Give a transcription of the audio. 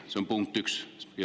See on punkt üks.